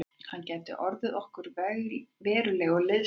Hann gæti orðið okkur verulegur liðsstyrkur